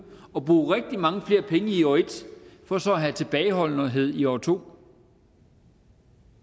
at bruge rigtig mange flere penge i år en for så at have tilbageholdenhed i år to